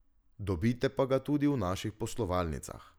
Dobite pa ga tudi v naših poslovalnicah.